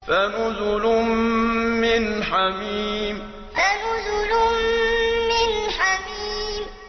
فَنُزُلٌ مِّنْ حَمِيمٍ فَنُزُلٌ مِّنْ حَمِيمٍ